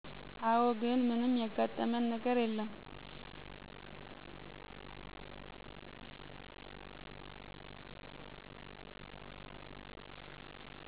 አወ ግን ምንም ያጋጠመን ነገር የለም